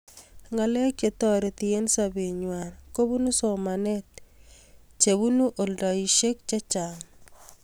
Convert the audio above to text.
ngalek chetoreti eng sobee ngwai kobunuu somanet chebunu oldashek chechang